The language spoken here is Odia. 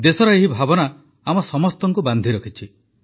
ଦେଶର ଏହି ଭାବନା ଆମ ସମସ୍ତଙ୍କୁ ବାନ୍ଧି ରଖିଛି